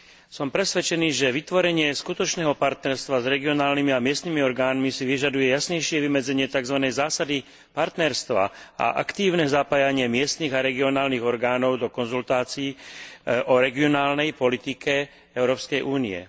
Som presvedčený, že vytvorenie skutočného partnerstva s regionálnymi a miestnymi orgánmi si vyžaduje jasnejšie vymedzenie takzvanej zásady partnerstva a aktívne zapájanie miestnych a regionálnych orgánov do konzultácií o regionálnej politike Európskej únie.